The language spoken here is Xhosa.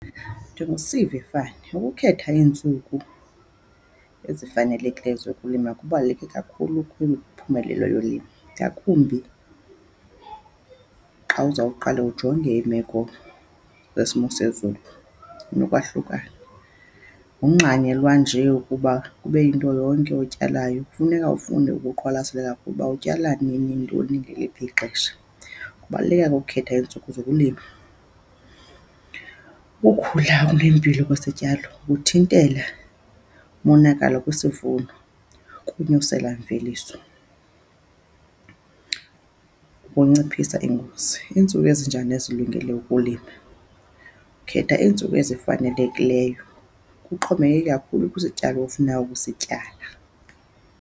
Ukukhetha iintsuku ezifanelekileyo zokulima kubaluleke kakhulu kwimiphumelela yolimo ngakumbi xa uzawuqala ujonge iimeko kwesimo sezulu nokwahlukana. Akungxanyelwa nje ukuba kube yinto yonke otyalayo. Kufuneka ufunde ukuqwalaselela ukuba utyala nini, ntoni, ngeliphi ixesha. Ukubaluleka kokhetha iintsuku zokulima. Ukukhula okunempilo kwesityalo kuthintela umonakalo kwisivuno kunyusela mveliso, ukunciphisa iingozi. Iintsuku ezinjani ezilungele ukulima? Ukhetha iintsuku ezifanelekileyo kuxhomekeke kakhulu kwisityalo ofuna ukusityala.